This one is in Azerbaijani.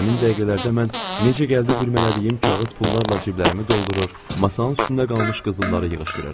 Həmin dəqiqələrdə mən necə gəldi bürmələdiyim kağız pullarla ciblərimi doldurur, masanın üstündə qalmış qızılları yığışdırırdım.